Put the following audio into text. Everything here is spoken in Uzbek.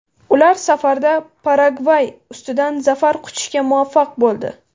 Ular safarda Paragvay ustidan zafar quchishga muvaffaq bo‘ldi.